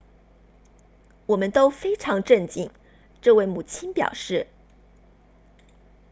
我们都非常震惊这位母亲表示